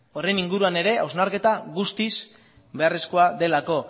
inguruan ere hausnarketa guztiz beharrezkoa delako